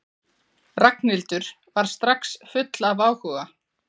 Ragnhildur var strax full af áhuga.